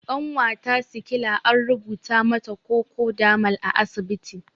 Ƙanwata sikila an rubuta mata kokodamol a asibiti